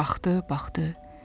Baxdı, baxdı.